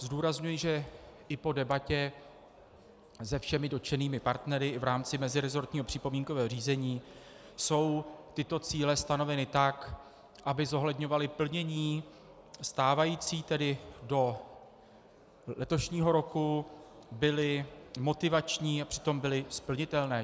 Zdůrazňuji, že i po debatě se všemi dotčenými partnery i v rámci mezirezortního připomínkového řízení jsou tyto cíle stanoveny tak, aby zohledňovaly plnění stávající, tedy do letošního roku, byly motivační a přitom byly splnitelné.